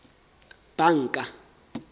banka